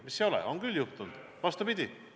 Miks ei ole – on küll juhtunud!